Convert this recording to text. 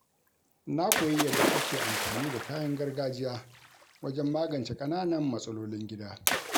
Na koyi yadda ake amfani da kayan gargajiya wajen magance Kananan matsalolin gida.